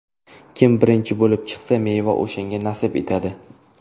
Kim birinchi bo‘lib chiqsa, meva o‘shanga nasib etadi”.